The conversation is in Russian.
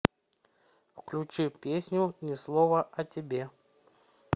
включи песню ни слова о тебе